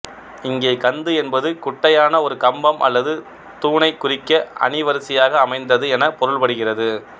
இங்கே கந்து என்பது குட்டையான ஒரு கம்பம் அல்லது தூணைக் குறிக்க அணி வரிசையாக அமைந்தது எனப் பொருள் படுகிறது